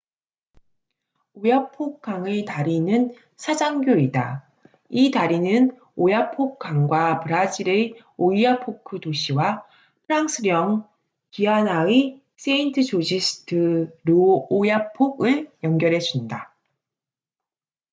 오야폭oyapock river 강의 다리는 사장교cable-stayed bridge이다. 이 다리는 오야폭 강과 브라질의 오이아포크oiapoque 도시와 프랑스령 기아나의 세인트-조지스 드 르오야폭saint-georges de l'oyapock을 연결해 준다